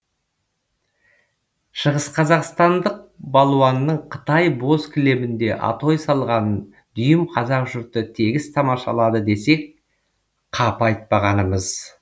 шығысқазақстандық балуанның қытай боз кілемінде атой салғанын дүйім қазақ жұрты тегіс тамашалады десек қапы айтпағанымыз